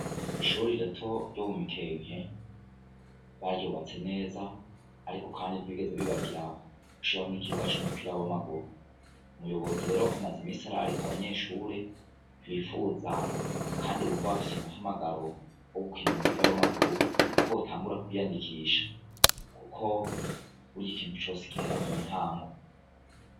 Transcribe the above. Ishure rito ryo mu mikenke baryubatse neza ,ariko kandi ntibigeze bibagira gushiraho ikibuga c'umupira w'amaguru, umuyobozi rero amaze imisi ararika abanyeshure bifuza kandi bumva bafis 'umuhamagaro wokwiga gukina umupira w'amaguru, ko botangura kwiyandikisha kuko bury'ikintu cose gihera muntango.